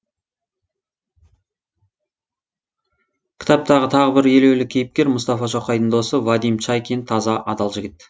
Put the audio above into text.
кітаптағы тағы бір елеулі кейіпкер мұстафа шоқайдың досы вадим чайкин таза адал жігіт